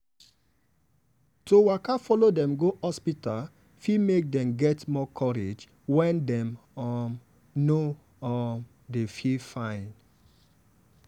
to waka follow dem go hospital fit make dem get more courage when dem um no um dey feel fine.